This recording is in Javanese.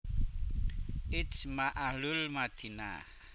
Ijma ahlul Madinah